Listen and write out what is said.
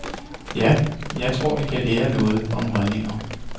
Ja, jeg tror, vi kan lære noget om holdninger.